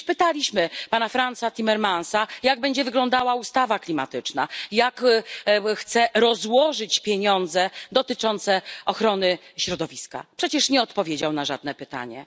Przecież pytaliśmy pana Fransa Timmermansa, jak będzie wyglądała ustawa klimatyczna, jak chce rozłożyć pieniądze dotyczące ochrony środowiska przecież nie odpowiedział na żadne pytanie.